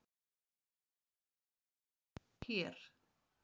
Fréttina má nálgast hér